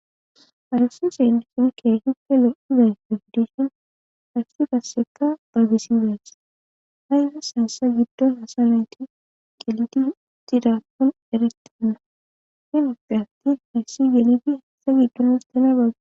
Arasi seelisun kee hippe lo'udan fefdishin hayssi gasseka baybisi bees hayses hassa giddon hasa nayti gelidi gidaakkon eretenna himopphe atti hayssi gelidi hessa giddon istena baaga.